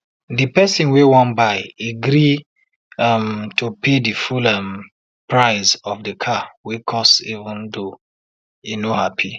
de person wey wan buy e gree um to pay di full um price of de car wey cost even though e no happy